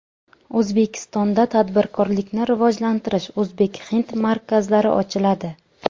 O‘zbekistonda tadbirkorlikni rivojlantirish o‘zbek-hind markazlari ochiladi.